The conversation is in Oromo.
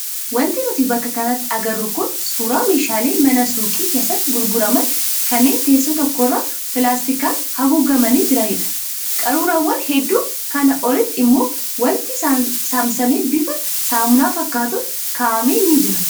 Wanti nuti bakka kanatti agarru kun suuraa meeshaalee mana suuqii keessatti gurguraman kanneen teessoo tokkorra pilaastiskaan haguugamanii jiranidha. Qaruuraawwan hedduu kanaa olitti immoo wanti saamsamamee bifa saamunaa fakkaatuun kaa'ame ni jira.